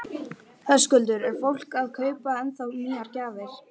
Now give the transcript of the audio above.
Höskuldur: Er fólk að kaupa ennþá nýjar gjafir?